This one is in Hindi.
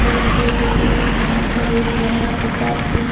दिखाई दे रही है यहां पर एक महाराणा प्रताप की--